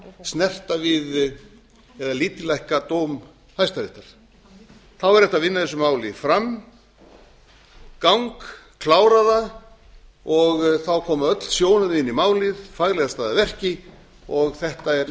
snerta við eða lítillækka dóm hæstaréttar væri hægt að vinna þessu mál framgang klára það og þá koma öll sjónarmið inn í málið faglega staðið að verki og þetta er